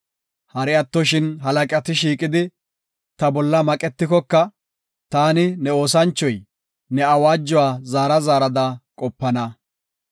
Hari attoshin halaqati shiiqidi, ta bolla maqetikoka, taani, ne oosanchoy, ne awaajuwa zaara zaarada qopana.